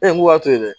E ko k'a to yen